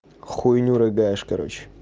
хуйню рыгаешь короче